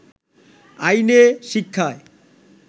আইনে, শিক্ষায়